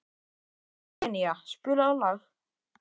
Senía, spilaðu lag.